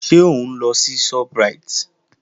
Ṣé òun lọ sí Shoprite?